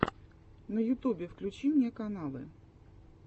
на ютубе включи мне каналы